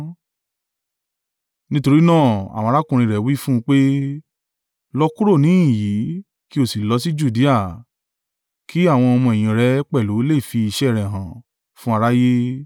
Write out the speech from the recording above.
Nítorí náà, àwọn arákùnrin rẹ̀ wí fún un pé, “Lọ kúrò níhìn-ín yìí, kí o sì lọ sí Judea, kí àwọn ọmọ-ẹ̀yìn rẹ pẹ̀lú lè fi iṣẹ́ rẹ hàn fún aráyé.